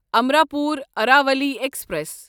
Amrapur Aravali express